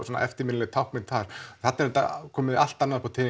svona eftirminnileg táknmynd þar þarna er komið allt annað upp á